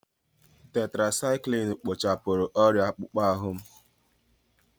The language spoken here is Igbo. Tetirasaikilinu kpochapụrụ ọrịa akpụkpọ ahụ m.